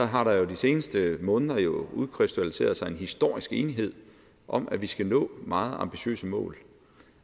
har der jo i de seneste måder udkrystalliseret sig en historisk enighed om at vi skal nå meget ambitiøse mål